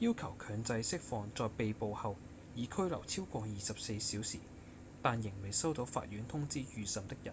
要求強制釋放在被捕後已拘留超過24小時但仍未收到法院通知預審的人